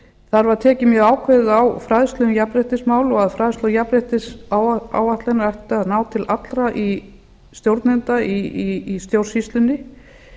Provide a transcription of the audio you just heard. þar var tekið mjög ákveðið á fræðslu um jafnréttismál og að fræðsla jafnréttisáætlunar ætti að ná til allra stjórnenda í stjórnsýslunni